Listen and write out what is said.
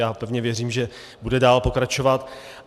Já pevně věřím, že bude dál pokračovat.